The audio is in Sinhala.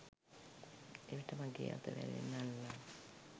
එවිට මගේ අත වැරෙන් අල්ලා